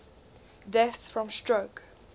deaths from stroke